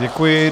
Děkuji.